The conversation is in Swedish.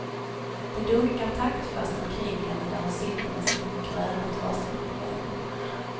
Det dunkar taktfast omkring henne där hon sitter med sin gröna trasmatteväv.